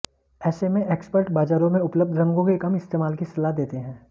ऐसे में एक्सपर्ट बाजारों में उपलब्ध रंगों के कम इस्तेमाल की सलाह देते हैं